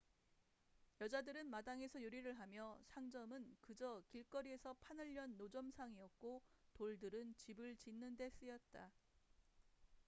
여자들은 마당에서 요리를 하며 상점은 그저 길거리에서 판을 연 노점상이었고 돌들은 집을 짓는 데 쓰였다